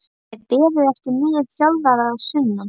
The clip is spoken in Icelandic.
Það er beðið eftir nýjum þjálfara að sunnan.